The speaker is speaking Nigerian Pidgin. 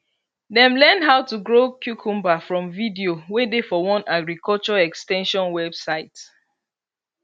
dem learn how to grow cucumber from video wey dey for one agriculture ex ten sion website